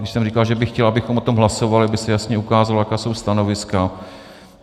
Už jsem říkal, že bych chtěl, abychom o tom hlasovali, aby se jasně ukázalo, jaká jsou stanoviska.